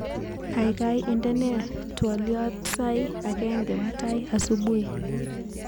Kaikai indenee twoliotsair agenge mutai subuhi